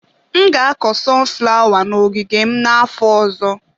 Aga m akọ sọnụ flawa n'ogige m afọ ọzọ.